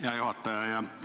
Hea juhataja!